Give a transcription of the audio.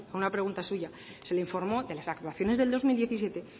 una pregunta suya se le informó de las actuaciones del dos mil diecisiete